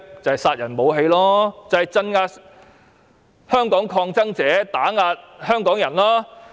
即殺人武器，用來鎮壓香港抗爭者、打壓香港人。